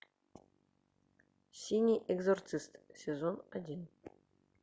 синий экзорцист сезон один